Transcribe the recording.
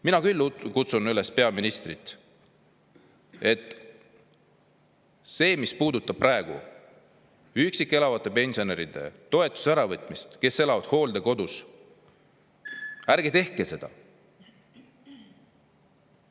Mina küll kutsun üles peaministrit: see, mis puudutab praegu nende üksi elavate pensionäride toetuse äravõtmist, kes elavad hooldekodus – ärge tehke seda!